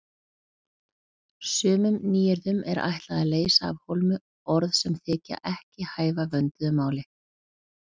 Sumum nýyrðum er ætlað að leysa af hólmi orð sem þykja ekki hæfa vönduðu máli.